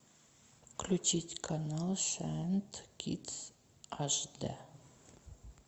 включить канал шайнт кидс аш дэ